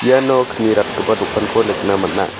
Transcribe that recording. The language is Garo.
iano kni ratgipa dokanko nikna man·a.